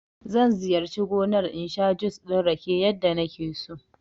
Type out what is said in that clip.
Zan ziyarci gomar in sha jus ɗin rake yadda nake so